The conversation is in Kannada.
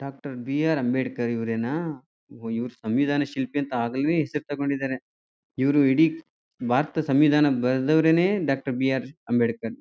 Doctor B R. ಅಂಬೇಡ್ಕರ್ ಇವರೇನಾ ಓ ಇವರು ಸಂವಿಧಾನ ಶಿಲ್ಪಿ ಅಂತ ಆಗಲೆನೇ ಹೆಸರು ತಗೊಂಡಿದರೆ. ಇವರು ಇಡೀ ಭಾರತದ ಸಂವಿಧಾನ ಬರ್ದವ್ರೆನೇ ಡಾಕ್ಟರ್ ಬಿ.ಆರ್. ಅಂಬೇಡ್ಕರ್ .